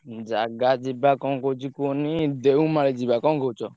ଉଁ ଜାଗା ଯିବା କଣ କହୁଛି କୁହନି ଦେଓମାଳି ଯିବା କଣ କହୁଛ?